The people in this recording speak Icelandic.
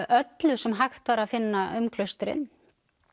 öllu sem hægt var að finna um klaustrin